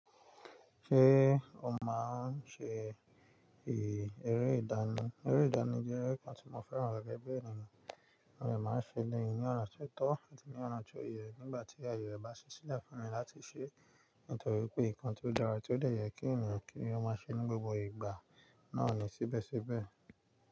Ṣé o máa ń ṣe ère ìdáná? Ère ìdáná jẹ́ ẹ̀rọ kan tí mo fẹ́ràn gẹ́gẹ́ bí ènìyàn. Mode màá ń ṣe eleyi náà sito ati ní ọ̀nà tó yẹ nígbà tí ayé bá ṣíṣe láfùn mi láti ṣe. Nítorí pé nǹkan tí ó dára tí ó lè yẹ kí ènìyàn kí ènìyàn máa ṣe ní gbogbo ìgbà náà ni síbẹ̀síbẹ̀